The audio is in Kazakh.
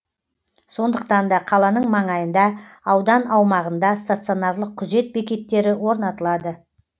сондықтан да қаланың маңайында аудан аумағында стационарлық күзет бекеттері орнатылады